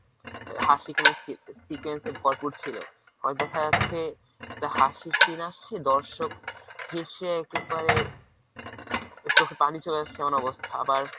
হাসি কান্নার সি~ ভরপুর ছিল। হয়তো দেখা যাচ্ছে একটা হাসির scene আসছে দর্শক হেসে একেবারে চোখে পানি চলে আসছে এমন অবস্থা আবার